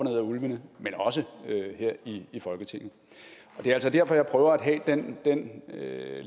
ad ulvene men også her i folketinget det er altså derfor jeg prøver at have den